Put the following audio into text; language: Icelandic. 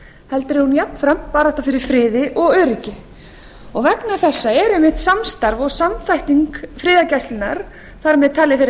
heldur er hún jafnframt barátta fyrir friði og öryggi vegna þessa er einmitt samstarf og samþætting friðargæslunnar þar með talið þeirrar